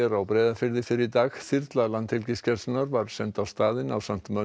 á Breiðafirði fyrr í dag þyrla Landhelgisgæslunnar var send á staðinn ásamt mönnum